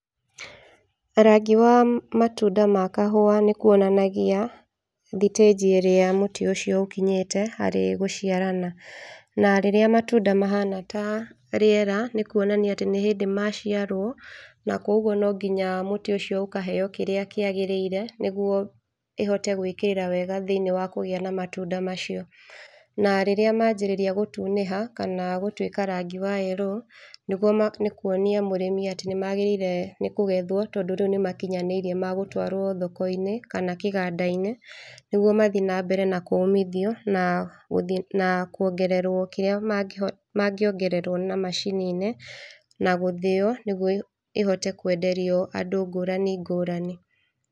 Rangi wa matunda ma kahũa nĩ kũonanagia thitĩnji ĩrĩa mũtĩ ũcio ũkinyĩte harĩ gũciarana na rĩrĩa matunda mahana ta rĩera nĩkũonania atĩ nĩ hĩndĩ maciarwo na kwa ũguo no nginya mũtĩ ũcio ũkaheo kĩrĩa kĩagĩrĩire nĩguo ĩhote gwĩkĩrĩra wega thĩĩnĩe wa kũgĩa na matũnda macio na rĩrĩa manjĩrĩria gũtunĩha kana gũtũĩka rangi wa yellow nĩkũonia mũrĩmi atĩ nĩmagĩrĩirwo nĩ kũgethwo tondũ rĩu nĩmakinyanĩĩrĩe ma gũtwaro thoko-inĩ kana kĩganda-inĩ nĩgũo mathĩe na mbere na kũmithio na kuongererwo kĩrĩa mangĩongererwo na macini-inĩ na gũthĩo nĩgũo ĩhote kwenderio andũ ngũrani ngũrani.